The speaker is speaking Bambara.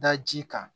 Da ji kan